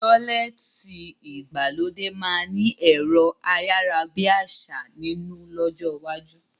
Tọ́lẹ́ẹ́tì ìgbàlódé máa ni ẹ̀rọ ayárábiàsà nínú lọ́jọ́ iwájú